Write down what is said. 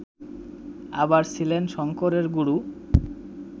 আবার ছিলেন শঙ্করের গুরু